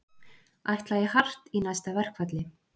Ætla í hart í næsta verkfalli